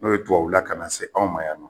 N'o ye dubabu la ka na se anw ma yan nɔ